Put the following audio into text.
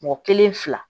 Mɔgɔ kelen fila